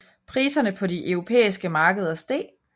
Priserne på de europæiske markeder steg